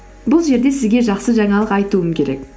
бұл жерде сізге жақсы жаңалық айтуым керек